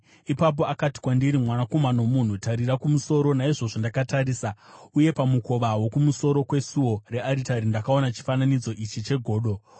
Ipapo akati kwandiri, “Mwanakomana womunhu, tarira kumusoro.” Naizvozvo ndakatarisa, uye pamukova wokumusoro kwesuo rearitari ndakaona chifananidzo ichi chegodo.